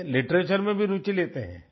हैं लिटरेचर में भी रूचि लेते हैं